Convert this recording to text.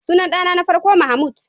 Sunan dana na farko Mahmud.